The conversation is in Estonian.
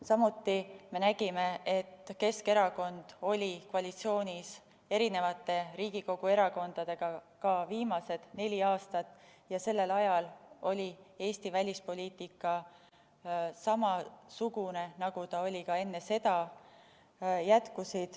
Samuti me nägime, et Keskerakond oli koalitsioonis eri Riigikogu erakondadega ka viimased neli aastat ja sellel ajal oli Eesti välispoliitika samasugune, nagu ta oli ka enne seda.